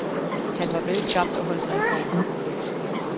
Han var velskabt og holdt sig i form.